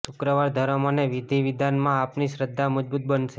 શુક્રવાર ધર્મ અને વિધિ વિધાનમાં આપની શ્રધ્ધા મજબુત બનશે